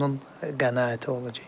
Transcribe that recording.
O onun qənaəti olacaq.